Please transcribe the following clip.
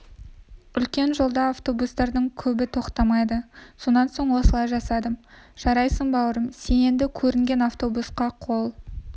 үлкен жолда автобустардың көбі тоқтамайды сонан соң осылай жасадым жарайсың бауырым сен енді көрінген автобусқа қол